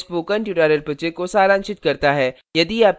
यह spoken tutorial project को सारांशित करता है